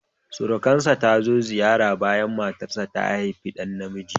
Surukarsa ta zo ziyara bayan matarsa ta haifi ɗa namiji